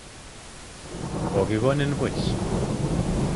Kokikonin buch